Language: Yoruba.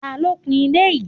Ta ló kun ilé yìí?